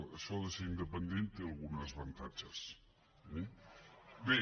això de ser independent té alguns avantatges eh bé